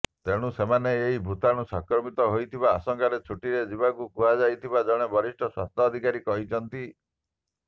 ତେଣୁ ସେମାନେ ଏହି ଭୂତାଣୁ ସଂକ୍ରମିତ ହୋଇଥିବା ଆଶଙ୍କାରେ ଛୁଟିରେ ଯିବାକୁ କୁହାଯାଇଥିବା ଜଣେ ବରିଷ୍ଠ ସ୍ୱାସ୍ଥ୍ୟ ଅଧିକାରୀ କହିଛନ୍ତି